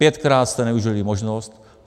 Pětkrát jste nevyužili možnost.